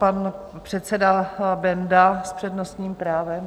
Pan předseda Benda s přednostním právem.